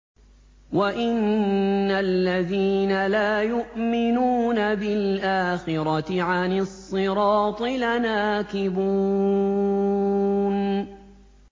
وَإِنَّ الَّذِينَ لَا يُؤْمِنُونَ بِالْآخِرَةِ عَنِ الصِّرَاطِ لَنَاكِبُونَ